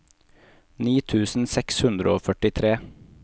ni tusen seks hundre og førtitre